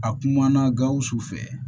A kumana gawusu fɛ